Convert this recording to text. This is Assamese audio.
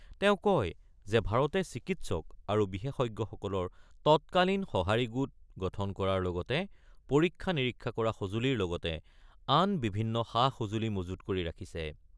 তেওঁ কয় যে ভাৰতে চিকিৎসক আৰু বিশেষজ্ঞসকলৰ তৎকালীন সঁহাৰি গোট গঠন কৰাৰ লগতে পৰীক্ষা-নিৰীক্ষা কৰা সঁজুলিৰ লগতে আন বিভিন্ন সা-সঁজুলি মজুত কৰি ৰাখিছে।